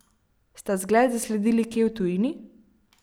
Sta zgled zasledili kje v tujini?